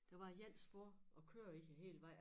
Der var ét spor at køre i æ hele vej